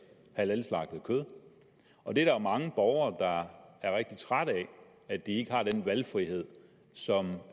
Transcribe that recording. halalslagtet kød og der er jo mange borgere er rigtig trætte af at de ikke har den valgfrihed som